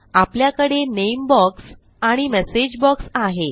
आपल्याकडे name box आणि message box आहे